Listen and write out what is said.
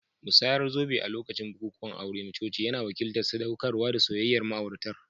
Musayar zobe a lokacin bukukuwan aure na coci yana wakiltar sadaukarwa da soyayyar ma'auratan